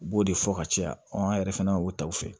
U b'o de fɔ ka caya an yɛrɛ fana y'o taw fɛ